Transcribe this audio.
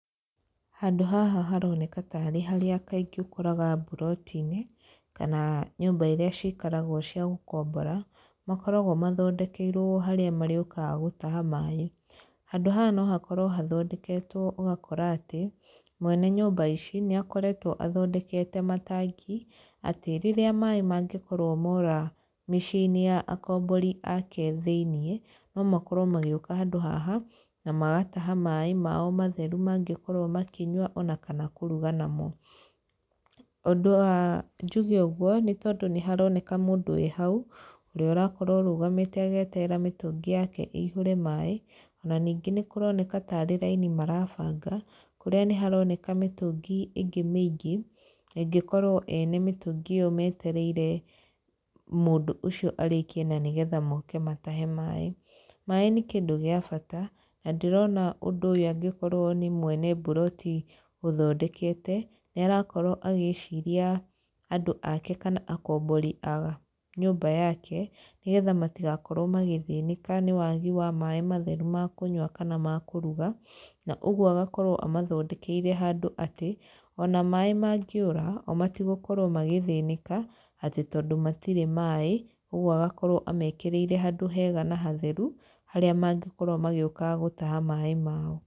Handũ haha haroneka tarĩ harĩa kaingĩ ũkoraga mburoti-inĩ, kana nyũmbairĩa cikaragwo cia gũkombora, makoragwo mathondekeirwo harĩa marĩũkaga gũtaha maaĩ. Handũ haha no hakorwo hathondeketwo ũgakora atĩ, mwene nyũmba ici, nĩ akoretwo athondekete matangi, atĩ rĩrĩa maaĩ mangĩkorwo mora mĩciĩ-inĩ ya akombori aake thĩiniĩ, no makorwo magĩũka handũ haha, na magataha maaĩ mao matheru mangĩkorwo makĩnyua ona kana kũruga namo. Ũndũ wa njuge ũguo, nĩ tondũ nĩ haroneka mũndũ wĩ hau, ũrĩa ũrakorwo arũgamĩte agĩeterera mĩtũngi yake ĩihũre maaĩ, ona ningĩ nĩ kũroneka tarĩ raini marabanga. Kũrĩa nĩ haroneka mĩtũngi ĩngĩ mĩingĩ, na ĩngĩkorwo ene mĩtũngi ĩyo metereire mũndũ ũcio arĩkie na nĩgetha moke matahe maaĩ. Maaĩ nĩ kĩndũ gĩa bata, na ndĩrona ũndũ ũyũ angĩkorwo nĩ mwene mburoti ũthondekete, nĩ arakorwo agĩciria andũ aake kana akombori a nyũmba yake, nĩgetha matigakorwo magĩthĩnĩka nĩ wagi wa maaĩ matheru ma kũnyua kana ma kũruga, na ũguo agakorwo amathondekeire handũ atĩ, ona maaĩ mangĩũra, o matigũkorwo magĩthĩnĩka, atĩ tondũ matirĩ maaĩ, ũguo agakorwo amekĩrĩire handũ hega na hatheru, harĩa mangĩkorwo magĩũka gũtaha maaĩ mao.